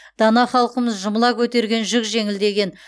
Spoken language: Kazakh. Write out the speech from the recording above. дана халқымыз жұмыла көтерген жүк жеңіл деген